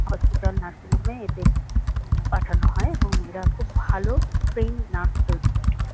Hospital nursing home -এ এদের আ পাঠানো হয় এবং এরা খুব ভালো ট্রেইন নার্স তৈরী করে।